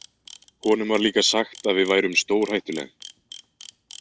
Honum var líka sagt að við værum stórhættuleg.